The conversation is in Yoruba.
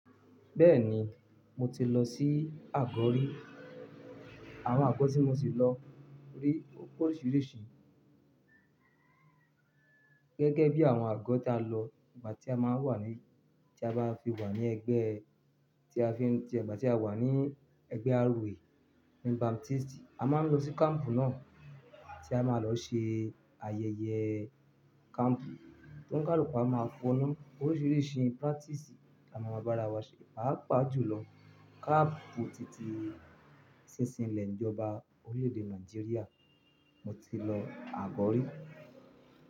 Bẹ́ẹ̀ni, mo ti lọ sí àgọ́ rí. Àwọn àgọ́ tí mo ti lọ rí ó pe órìṣirìṣi. Gẹ́gẹ́ bí àwọn àgọ́ ta lọ ìgbà tí a máa wà ní, tí a bá fi wà ní ẹgbẹ́, tí a fi ń jẹ ìgbà tí a wà ní ẹgbẹ́ ROA ní Baptist, a máa ń lọ sí kampu náà tí a máa lọ ṣe ayẹyẹ kampu tó ń kaluku à máa fọ nu. Oríṣiríṣi practice la máa ma bá ara wa ṣe. Pá pà jùlọ, kampu titi sí ìsìnlẹ̀ ìjọba orílè-èdè Nàìjíríà mo ti lọ àgọ́ rí.